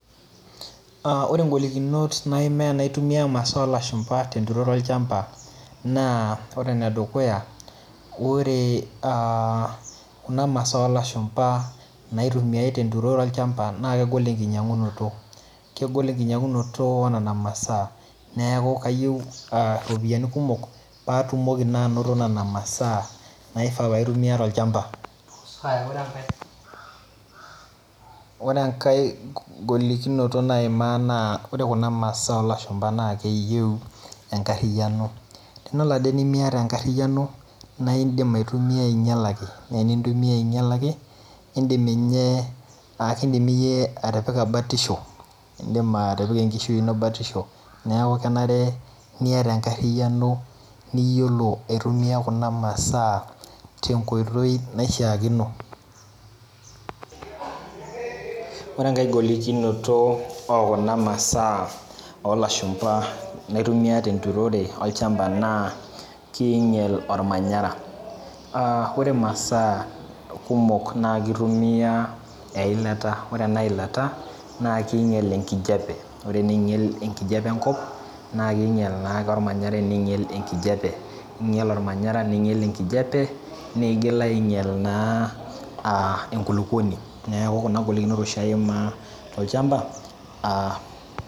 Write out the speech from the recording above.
Ore ngolikinot naimaa anaitumia imasaa olashumba tenturoro olchamba na ore enedukuya ore aa kuna masaa olashumba naitumiai tenturoro olchamba na kegol enkinyangunoto, kegol enkinyangunoto onona masaa neaku kayieu iropiyiani kumok patumoki na ainoto nona masaa niata olchamba, ore enkae golikinot naima na ore kuna masaa olashumba na keyieu enkariano, tenelo ade pemiata enkariano naindim aitumia ainyalaki na enintumia ainyalaki nakindim iyie atipika batisho atipika enkishui ino batisho .Neaku kenare niata enkariano niyiolo aitumia kuna masaa tenkoitoi naishaakino, ore enkae golikinoto okuna masaa olashumba na kinyal ormanyara, aa ore masaa kumok na kitumia eilata, ore enailata na keinyel enkijape ore eneinyel enkijape enkop na kinyel na ormanyara, ninyel ormanyara lenkijape nigil na ainyal enkulukuoni, neaku kuna golikinot oshi iima tolchamba.